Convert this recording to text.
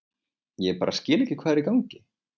Ég bara skil ekki hvað er í gangi.